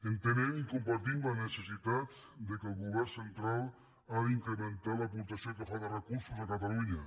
entenem i compartim la necessitat que el govern cen·tral ha d’incrementar l’aportació que fa de recursos a catalunya